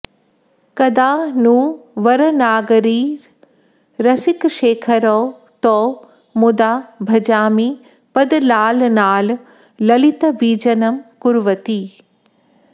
कदा नु वरनागरीरसिकशेखरौ तौ मुदा भजामि पदलालनाल् ललितवीजनं कुर्वती